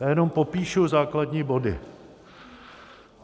Já jenom popíšu základní body.